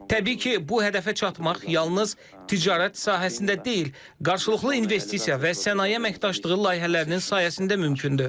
Təbii ki, bu hədəfə çatmaq yalnız ticarət sahəsində deyil, qarşılıqlı investisiya və sənaye əməkdaşlığı layihələrinin sayəsində mümkündür.